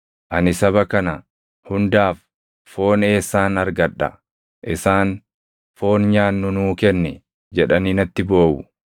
Ani saba kana hundaaf foon eessaan argadha? Isaan, ‘Foon nyaannu nuu kenni!’ jedhanii natti booʼu.